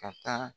Ka taa